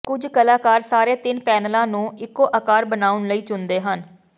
ਕੁਝ ਕਲਾਕਾਰ ਸਾਰੇ ਤਿੰਨ ਪੈਨਲਾਂ ਨੂੰ ਇੱਕੋ ਆਕਾਰ ਬਣਾਉਣ ਲਈ ਚੁਣਦੇ ਹਨ